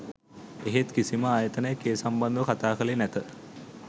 එහෙත් කිසිම ආයතනයක් ඒ සම්බන්ධව කතා කළේ නැත